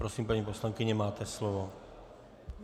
Prosím, paní poslankyně, máte slovo.